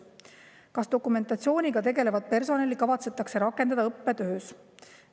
Kas dokumentatsiooniga tegelevat personali kavatsetakse rakendada õppetöös?